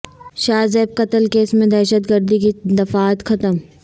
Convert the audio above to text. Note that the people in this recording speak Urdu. شاہ زیب قتل کیس میں دہشت گردی کی دفعات ختم